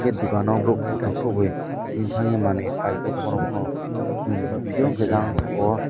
tei bokano borok korotam boi tini tangye manui pai paiye tongma rok pono chong tong piyo hingke jang saka o.